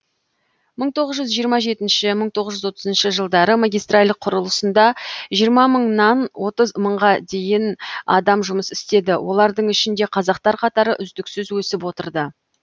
мың тоғыз жүз жиырма жетінші мың тоғыз жүз отызыншы жылдары магистраль құрылысында жиырма мыңнан отыз мыңға дейін адам жұмыс істеді олардың ішінде қазақтар қатары үздіксіз өсіп отырды